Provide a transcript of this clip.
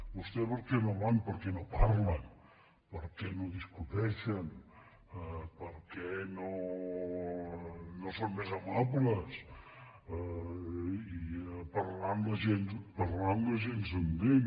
vos·tès per què no hi van per què no parlen per què no discuteixen per què no són més amables parlant la gent s’entén